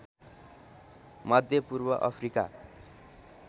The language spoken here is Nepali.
मध्य पूर्व अफ्रिका